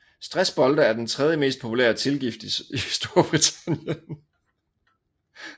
Stressbolde er den tredje mest populære tilgift i Storbritannien